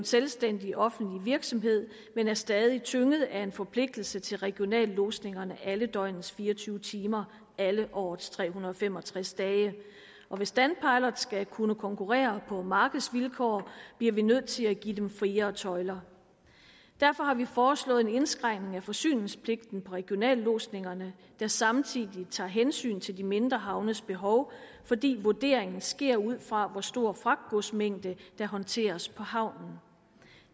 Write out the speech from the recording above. selvstændig offentlig virksomhed men er stadig tynget af en forpligtelse til regionallodsninger alle døgnets fire og tyve timer alle årets tre hundrede og fem og tres dage hvis danpilot skal kunne konkurrere på markedsvilkår bliver vi nødt til at give dem friere tøjler derfor har vi foreslået en indskrænkning af forsyningspligten på regionallodsninger der samtidig tager hensyn til de mindre havnes behov fordi vurderingen sker ud fra hvor stor en fragtgodsmængde der håndteres på havnen